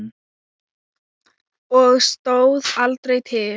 Og stóð aldrei til.